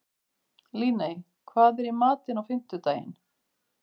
Líney, hvað er í matinn á fimmtudaginn?